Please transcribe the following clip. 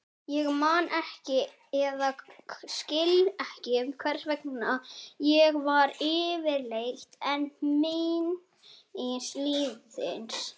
Ég man ekki eða skil ekki hvers vegna ég var yfirleitt ein míns liðs.